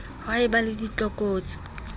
ha e ba le tlokotsi